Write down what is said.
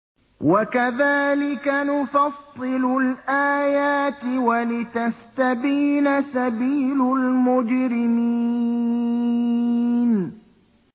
وَكَذَٰلِكَ نُفَصِّلُ الْآيَاتِ وَلِتَسْتَبِينَ سَبِيلُ الْمُجْرِمِينَ